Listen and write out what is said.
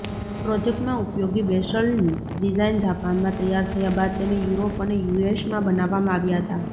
પ્રોજેક્ટમાં ઉપયોગી વેસલની ડિઝાઇન જાપાનમાં તૈયાર થયા બાદ તેને યુરોપ અને યુએસમાં બનાવવામાં આવ્યા હતાં